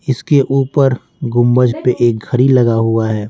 इसके ऊपर गुंबज पे एक घड़ी लगा हुआ है।